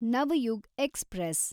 Navyug express